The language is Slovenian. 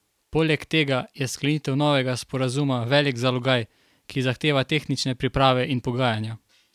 Poleg tega je sklenitev novega sporazuma velik zalogaj, ki zahteva tehnične priprave in pogajanja.